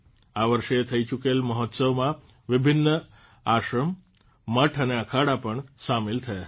આ વર્ષે થઇ ચૂકેલ મહોત્સવમાં વિભિન્ન આશ્રમ મઠ અને અખાડા પણ સામેલ થયા હતા